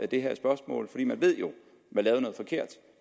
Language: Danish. det her spørgsmål for man ved jo at